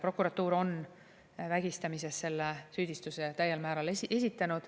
Prokuratuur on täiel määral esitanud süüdistuse vägistamises.